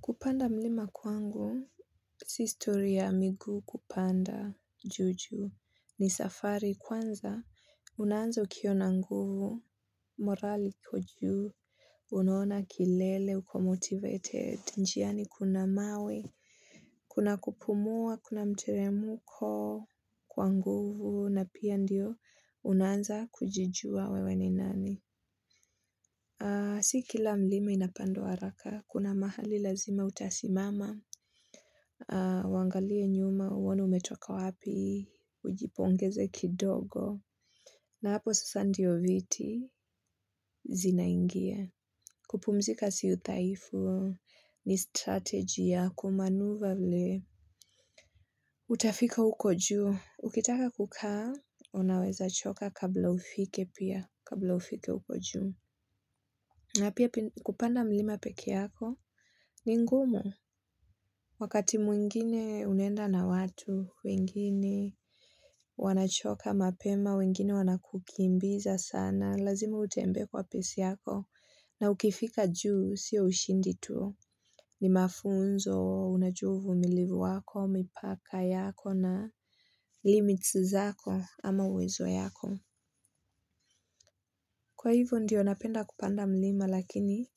Kupanda mlima kwangu, sistory ya miguu kupanda juu juu, ni safari kwanza, unanza ukiwa na nguvu, morali ikujuu, unona kilele, uko motivated, niani kuna mawe, kuna kupumua, kuna mteremuko kwa nguvu, na pia ndio unanza kujijua wewe ni nani. Si kila mlima inapandwa haraka, kuna mahali lazima utasimama, uangalie nyuma, uone umetoka wapi, ujipongeze kidogo, na hapo sasa ndiyo viti zinaingia. Kupumzika si uthaifu ni strategy ya kumanuva vle. Utafika ukoju. Ukitaka kukaa, unaweza choka kabla ufike pia, kabla ufike uko juu. Napia kupanda mlima peke yako ni ngumu. Wakati mwingine unaenda na watu, wengine wanachoka mapema, wengine wanakukimbiza sana, lazima utembee kwa pesi yako na ukifika juu, sio ushindi tuu. Ni mafunzo, unajua uvumilivu wako, mipaka yako na limits zako ama uwezo yako. Kwa hivyo ndiyo napenda kupanda mlima lakini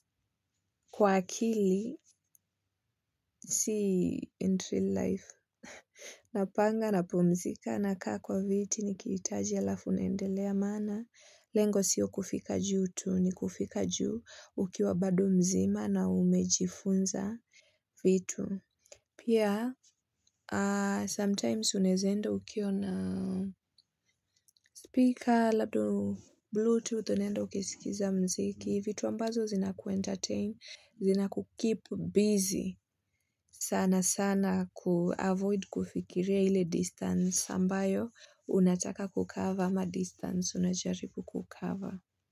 kwa akili si entry life. Napanga napumzika na kaa kwa viti nikiitaji alafu naendelea maana. Lengo sio kufika juu tu ni kufika juu ukiwa bado mzima na umejifunza vitu. Pia sometimes unezaenda ukiwa na speaker labda bluetooth unenda ukisikiza mziki. Ni vitu ambazo zinakuentertain, zinakukeep busy, sana sana kuavoid kufikiria ile distance ambayo, unataka kucover ama distance unajaribu kucover.